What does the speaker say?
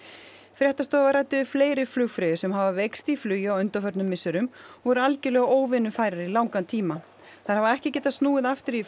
fréttastofa ræddi við fleiri flugfreyjur sem hafa veikst í flugi á undanförnum misserum og voru algjörlega óvinnufærar í langan tíma þær hafa ekki getað snúið aftur í